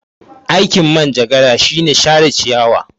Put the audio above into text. Aikin Manjagara shine share ciyawa.